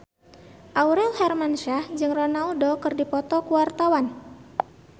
Aurel Hermansyah jeung Ronaldo keur dipoto ku wartawan